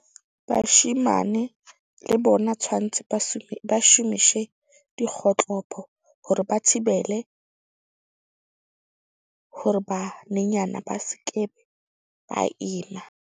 Bashemane le bona tshwantse ba shomishe dikgotlopo, hore ba thibele hore banenyana ba seke ba ima.